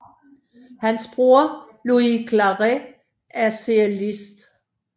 Hans bror Lluís Claret er cellist